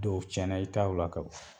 Dɔw tiɲɛna i taw la kaba